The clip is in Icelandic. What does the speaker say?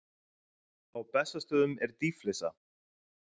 Á Bessastöðum er dýflissa.